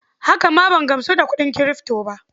Haka ma ban gamsu da kuɗin Kirifto ba.